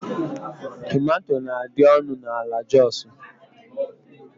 Tomatò na-adi ọnụ ala n'Joosu.